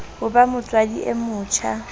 ho ba motswadi e motjha